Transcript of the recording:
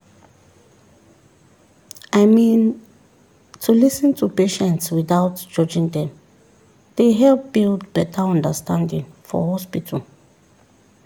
"i mean to lis ten to patients without judging dem dey help build better understanding for hospital